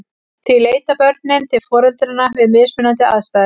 Því leita börnin til foreldranna við mismunandi aðstæður.